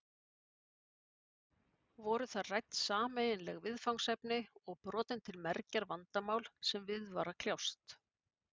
Voru þar rædd sameiginleg viðfangsefni og brotin til mergjar vandamál sem við var að kljást.